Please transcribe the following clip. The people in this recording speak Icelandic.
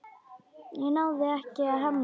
Ég náði ekki að hemla.